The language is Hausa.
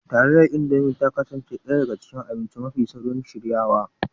Taliyar Indomi ta kasance ɗaya daga cikin abinci mafi saurin shiryawa